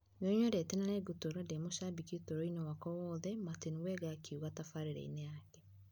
Nĩ nyendete na nĩ ngũtũũra ndĩ mũshabiki ũtũũro-inĩ wakwa wothe' Martin Wenger akiuga taarifainĩ yake.